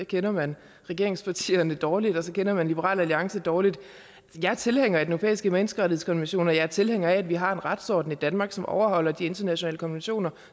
kender man regeringspartierne dårligt og så kender man liberal alliance dårligt jeg er tilhænger af den europæiske menneskerettighedskonvention og jeg er tilhænger af at vi har en retsorden i danmark som overholder de internationale konventioner